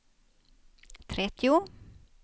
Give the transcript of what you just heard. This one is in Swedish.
trettio